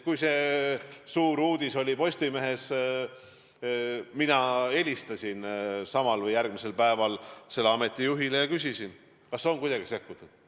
Kui see suur uudis Postimehes ilmus, siis mina helistasin samal või järgmisel päeval selle ameti juhile ja küsisin, kas on kuidagi sekkutud.